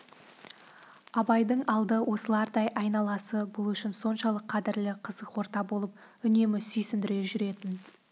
абайдың алды осылардай айналасы бұл үшін соншалық қадірлі қызық орта болып үнемі сүйсіндіре жүретін